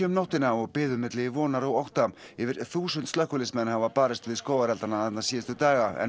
nóttina og biðu milli vonar og ótta yfir þúsund slökkviliðsmenn hafa barist við skógareldana þarna síðustu daga en